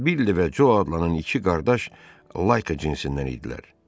Billi və Co adlanan iki qardaş layka cinsindən idilər.